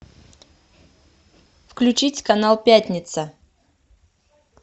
включить канал пятница